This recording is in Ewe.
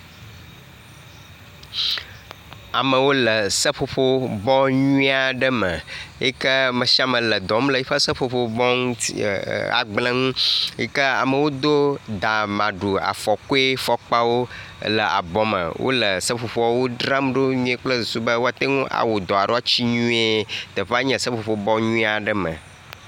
Amewo le seƒoƒobɔ nyui aɖe me yi ke be ame sia ame le dɔ wɔm le yiƒe seƒoƒo bɔ ŋuti e… agble ŋu yike amewo do da maɖu afɔkɔe fɔkpawo ele abɔ me wo le seƒoƒoa wo dram ɖo nyuie kple susu be woate ŋu awɔ dɔ alo atsi nyuie. Teƒe nye seƒoƒo bɔ nyuie aɖe me.